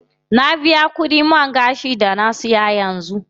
Na biya kudin man gashin da na siya yanzu.